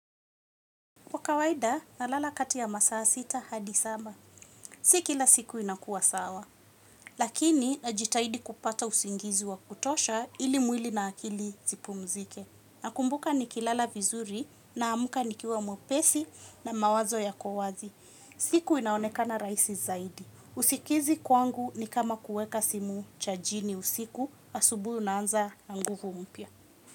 Kwa kawaida nalala kati ya masaa sita hadi saba. Si kila siku inakua sawa, lakini najitahidi kupata usingizi wa kutosha ili mwili na akili zipumzike. Nakumbuka nikilala vizuri naamka nikiwa mwepesi na mawazo yako wazi. Siku inaonekana rahisi zaidi. Usikizi kwangu ni kama kuweka simu chajini usiku asubuhi unaanza na nguvu mpya.